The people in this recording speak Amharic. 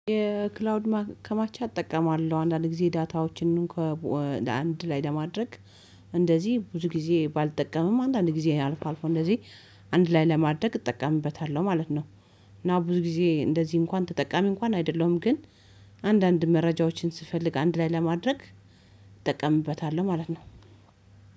የክላውድ ማከማቻ እጠቀማለሁ አንዳንድ ጊዜ ዳታዎችንም አንድ ላይ ለማድረግ እንደዚህ ብዙ ጊዜ ባልጠቀምም አንድ አንድ ጊዜ አልፎ አልፎ እንደዚህ አንድ ላይ ለማድረግ እጠቀምበታለሁ ማለት ነው። እና ብዙ ጊዜ እንደዚህ እንኳን ተጠቃሚ እንኳን አይደለሁም ግን አንዳንድ መረጃዎችን ስፈልግ አንድ ላይ ለማድረግ እጠቀምበታለሁ ማለት ነው።